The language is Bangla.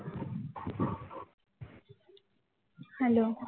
hello